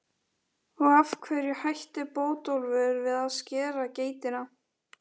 Og af hverju hætti Bótólfur við að skera geitina?